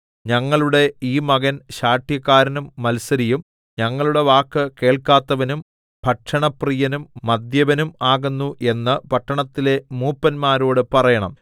ഞങ്ങളുടെ ഈ മകൻ ശാഠ്യക്കാരനും മത്സരിയും ഞങ്ങളുടെ വാക്ക് കേൾക്കാത്തവനും ഭക്ഷണപ്രിയനും മദ്യപനും ആകുന്നു എന്ന് പട്ടണത്തിലെ മൂപ്പന്മാരോട് പറയണം